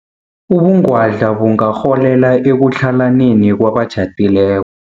Ubungwadla bungarholela ekutlhalaneni kwabatjhadile